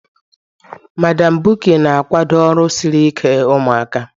Madam Bukky na-akwado ọrụ siri ike ụmụaka